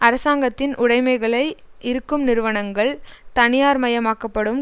அரசாங்கத்தின் உடைமைகளை இருக்கும் நிறுவனங்கள் தனியார்மயமாக்கப்படும்